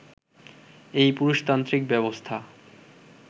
এই পুরুষতান্ত্রিক ব্যবস্থা